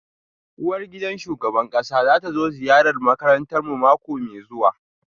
Uwargidan shugaban kasa za ta zo ziyarar makarantarmu mako mai zuwa